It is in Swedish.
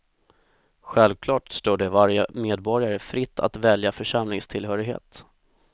Självklart står det varje medborgare fritt att välja församlingstillhörighet.